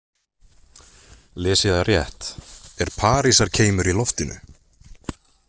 Les ég það rétt, er Parísarkeimur í loftinu?